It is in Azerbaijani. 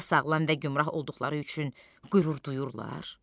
Ya sağlam və gümrah olduqları üçün qürur duyurlar?